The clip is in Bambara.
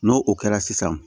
N'o o kɛra sisan